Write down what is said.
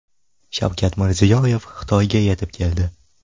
Shavkat Mirziyoyev Xitoyga yetib keldi.